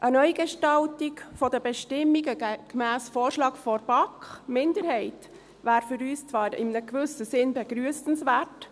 Eine Neugestaltung der Bestimmungen gemäss Vorschlag der BaK-Minderheit wäre für uns zwar in einem gewissen Sinn begrüssenswert.